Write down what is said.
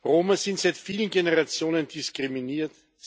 Roma sind seit vielen Generationen diskriminiert.